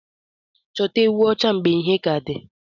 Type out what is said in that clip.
Chọta ewụ ocha mgbe ìhè kà di.